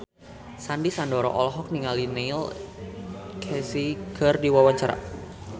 Sandy Sandoro olohok ningali Neil Casey keur diwawancara